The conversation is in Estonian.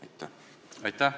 Aitäh!